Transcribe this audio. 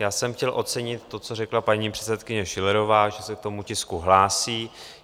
Já jsem chtěl ocenit to, co řekla paní předsedkyně Schillerová, že se k tomu tisku hlásí.